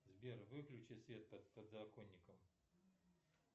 сбер выключи свет под подоконником